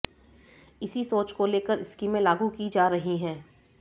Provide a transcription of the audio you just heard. इसी सोच को लेकर स्कीमें लागू की जा रही हैं